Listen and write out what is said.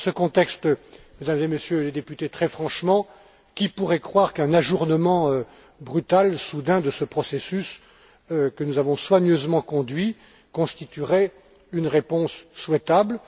Dans ce contexte, Mesdames et Messieurs les députés, très franchement, qui pourrait croire qu'un ajournement brutal, soudain, de ce processus que nous avons soigneusement conduit constituerait une réponse souhaitable?